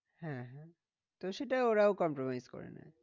হ্যাঁ হ্যাঁ তো সেটা ওরাও compromise করে নেয়।